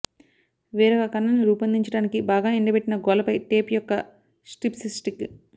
వేరొక కణాన్ని రూపొందించడానికి బాగా ఎండబెట్టిన గోళ్ళపై టేప్ యొక్క స్ట్రిప్స్ స్టిక్